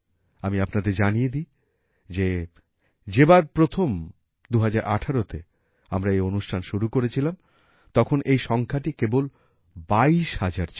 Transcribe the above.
আমি আপনাদের জানিয়ে দিই যে যেবার প্রথম ২০১৮তে আমরা এই অনুষ্ঠান শুরু করেছিলাম তখন এই সংখ্যাটি কেবল ২২০০০ ছিল